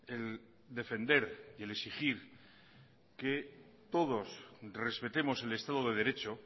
el defender y el exigir que todos respetemos el estado de derecho